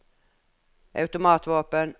automatvåpen